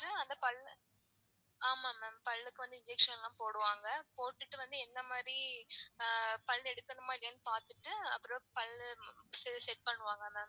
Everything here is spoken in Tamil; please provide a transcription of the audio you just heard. இப்போ அந்த பல்ல ஆமா ma'am பல்லு க்கு வந்த injection லான் போடுவாங்க போட்டுட்டு வந்து என்ன மாதிரி பல்லு எடுக்கணுமா இல்லையா னு பாத்துட்டு அப்புறம் பல்லு set பண்ணுவாங்க ma'am